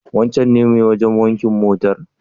Wancen ne mai wajen wanke motar?